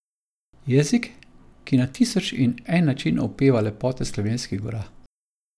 Jezik, ki na tisoč in en način opeva lepote slovenskih gora.